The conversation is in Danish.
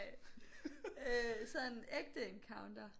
Sådan ægte encounter